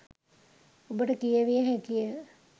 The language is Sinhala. ඔබට කියැවිය හැකිය.